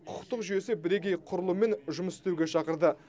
құқықтық жүйесі бірегей құрылыммен жұмыс істеуге шақырды